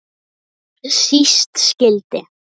Þegar síst skyldi.